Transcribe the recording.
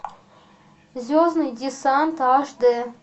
звездный десант аш д